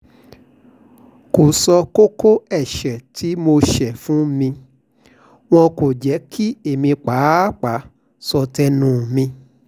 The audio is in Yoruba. kò sọ kókó ẹ̀ṣẹ̀ tí mo ṣe fún mi wọn kò jẹ́ kí èmi pàápàá sọ tẹnu mi